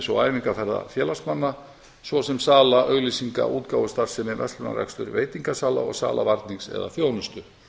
og æfingaferða félagsmanna svo sem sala auglýsinga útgáfustarfsemi verslunarrekstur veitingasala og sala varnings eða þjónustu